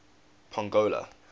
pongola